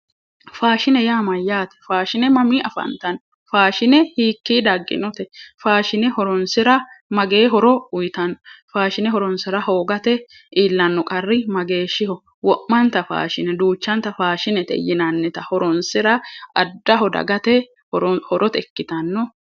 faashine yaa mayyaate faashine mamii afantanno? faashine hiikkii dagginote? faashine horonsira magee horo uyitanno? faashine horoonsira hoogatenni iillanno qarri mageeho? wo'manta faashinete duuchanta faashinete yinannita horoonsira addaho dagate horote ikkitanno.